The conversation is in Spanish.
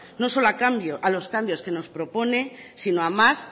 no solo a cambios que nos propone sino a más